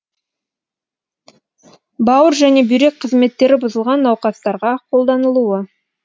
бауыр және бүйрек қызметтері бұзылған науқастарға қолданылуы